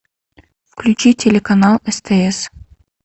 включи телеканал стс